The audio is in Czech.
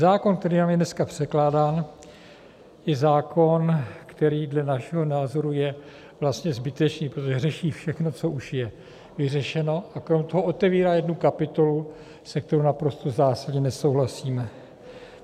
Zákon, který nám je dneska předkládán, je zákon, který dle našeho názoru je vlastně zbytečný, protože řeší všechno, co už je vyřešeno, a kromě toho otevírá jednu kapitolu, se kterou naprosto zásadně nesouhlasíme.